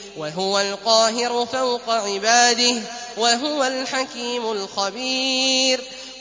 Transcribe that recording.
وَهُوَ الْقَاهِرُ فَوْقَ عِبَادِهِ ۚ وَهُوَ الْحَكِيمُ الْخَبِيرُ